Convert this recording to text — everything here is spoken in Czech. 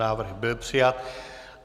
Návrh byl přijat.